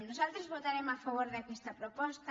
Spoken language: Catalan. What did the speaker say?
nosaltres votarem a favor d’aquesta proposta